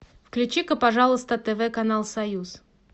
включи пожалуйста тв канал союз